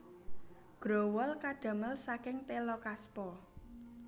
Growol kadamel saking téla kaspa